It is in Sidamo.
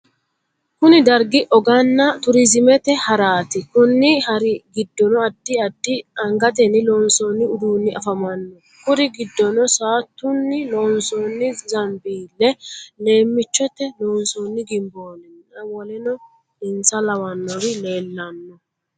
Kunni dargi oganna turiziimete haraati. Konni hari gidoonni addi addi angatenni loonsoonni uduunni afamano. Kuri gidonni saatunni loonsoonni zambiile, leemiichote loonsoonni gimboolinna woleno insa lawanori leelano.